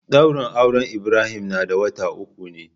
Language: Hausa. Daurin auren Ibrahim na da wata uku ne.